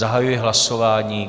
Zahajuji hlasování.